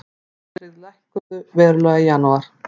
Óverðtryggð lækkuðu verulega í janúar